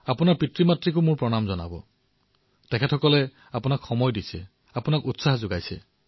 বছৰটোৰ ৩৬৫ দিনেই তেওঁলোকে কাম কৰিবলগীয়া হয়